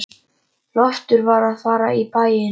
Loftur var að fara í bæinn.